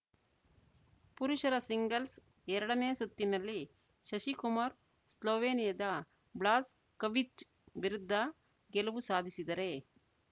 ಪುರುಷರ ಸಿಂಗಲ್ಸ್‌ ಎರಡನೇ ಸುತ್ತಿನಲ್ಲಿ ಶಶಿ ಕುಮಾರ್‌ ಸ್ಲೋವೆನಿಯಾದ ಬ್ಲಾಜ್‌ ಕವಿಚ್‌ ವಿರುದ್ಧ ಗೆಲುವು ಸಾಧಿಸಿದರೆ